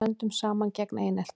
Stöndum saman gegn einelti